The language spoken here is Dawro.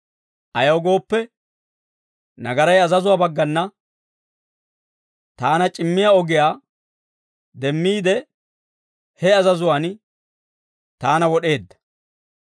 Ayaw gooppe, nagaray azazuwaa baggana taana c'immiyaa ogiyaa demmiide, he azazuwaan taana wod'eedda.